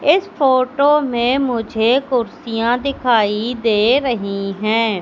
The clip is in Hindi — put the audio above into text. इस फोटो मुझे कुर्सियां दिखाई दे रही है।